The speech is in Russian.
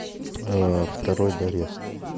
второй дорест